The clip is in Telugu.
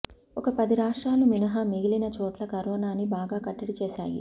ఒక పది రాష్ట్రాలు మినహా మిగిలిన చోట్ల కరోనాని బాగా కట్టడి చేశాయి